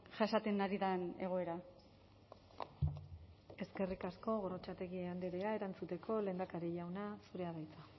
jasaten ari den egoera eskerrik asko gorrotxategi andrea erantzuteko lehendakari jauna zurea da hitza